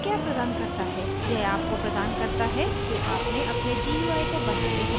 यह आपको प्रदान करता है जो आपने अपने gui को बनाते समय देखा